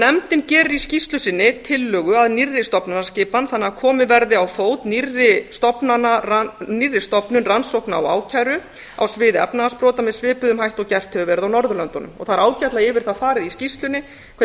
nefndin gerir í skýrslu sinni tillögu að nýrri stofnanaskipan þannig að komið verði á fót nýrri stofnun rannsókna og ákæru á sviði efnahagsbrota með svipuðum hætti og gert hefur verið á norðurlöndunum það er ágætlega yfir það farið í skýrslunni hvernig